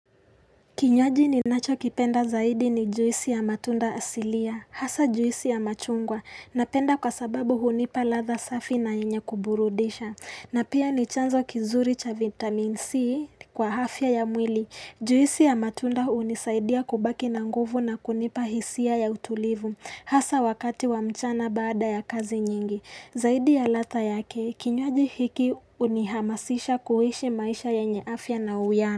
Kinywaji ninacho kipenda zaidi ni juisi ya matunda asilia, hasa juisi ya machungwa, napenda kwa sababu hunipa ladha safi na yenye kuburudisha, na pia ni chanzo kizuri cha vitamin C kwa afya ya mwili. Juisi ya matunda hunisaidia kubaki na nguvu na kunipa hisia ya utulivu, hasa wakati wa mchana baada ya kazi nyingi. Zaidi ya ladha yake, kinywaji hiki unihamasisha kuishi maisha ya yenye afya na uiano.